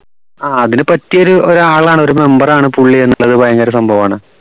ആഹ് അതിന് പറ്റിയ ഒരു ഒരാളാണ് ഒരു member ആണ് പുള്ളി എന്നുള്ളത് ഭയങ്കര സംഭവമാണ്